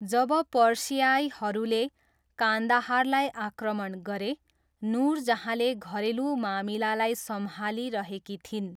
जब पर्सियाईहरूले कान्दाहारलाई आक्रमण गरे, नुरजहाँले घरेलु मामिलालाई सम्भालिरहेकी थिइन्।